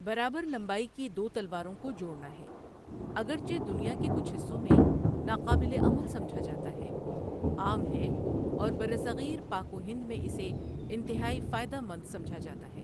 برابر لمبائی کی دو تلواروں کو جوڑنا ہے، اگرچہ دنیا کے کچھ حصوں میں ناقابل عمل سمجھا جاتا ہے، عام ہے اور برصغیر پاک و ہند میں اسے انتہائی فائدہ مند سمجھا جاتا تھا۔